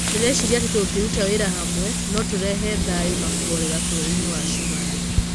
Ndĩrecirĩria atĩ tũngĩruta wĩra hamwe, no tũrehe thayũna kũhorera bũrũrinĩ wa Cumarĩ.